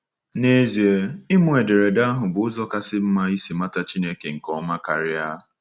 N’ezie, ịmụ ederede ahụ bụ ụzọ kasị mma isi mata Chineke nke ọma karịa.